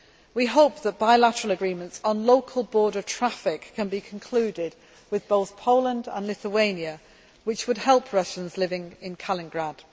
We hope that bilateral agreements on local border traffic can be concluded with both Poland and Lithuania which would help Russians living in Kaliningrad.